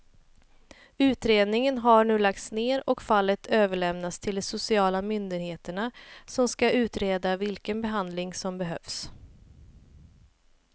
Utredningen har nu lagts ner och fallet överlämnats till de sociala myndigheterna som ska utreda vilken behandling som behövs.